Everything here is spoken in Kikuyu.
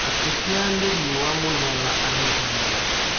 Akĩhĩa nĩ riũwa mũno na agĩ thiigina.